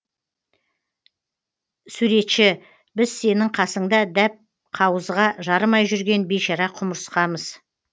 суретші біз сенің қасыңда дәп қауызға жарымай жүрген бейшара құмырсқамыз